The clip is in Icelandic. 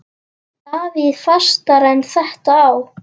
Davíð Fastara en þetta á.